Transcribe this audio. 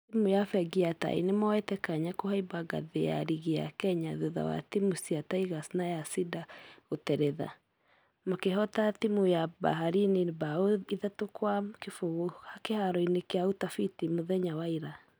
Timũ ya fegi ya tai nĩmoyete kanya kũhaimba ngathi ya rigi ya kenya thutha wa timũ cia tigers na ya cider gũteretha , makehota timũ ya baharini bao ithatũ kwa kĩfũgũ kĩharo gia utafiti mũthenya wa ira .